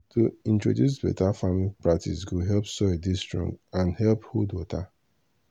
to introduce better farming practice go help soil dey strong and help hold water.